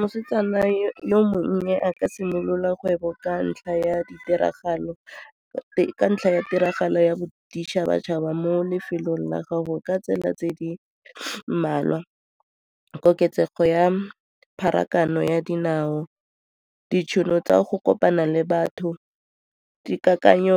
Mosetsana yo mongwe a ka simolola kgwebo ka ntlha ya tiragalo ya boditšhabatšhaba mo lefelong la gago ka tsela tse di mmalwa, koketsego ya pharakano ya dinao, ditšhono tsa go kopana le batho, dikakanyo